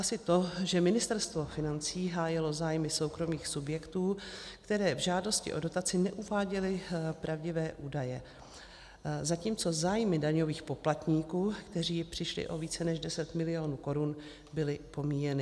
Asi to, že Ministerstvo financí hájilo zájmy soukromých subjektů, které v žádosti o dotaci neuváděly pravdivé údaje, zatímco zájmy daňových poplatníků, kteří přišli o více než 10 mil. korun, byly pomíjeny.